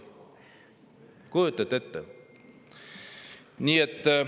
Kujutate ette?